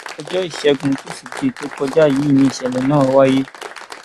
ọjọ ìṣègùn tusidee tó kọjá yìí níṣẹlẹ náà wáyé